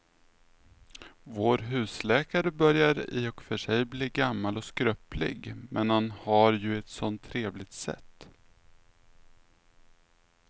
Vår husläkare börjar i och för sig bli gammal och skröplig, men han har ju ett sådant trevligt sätt!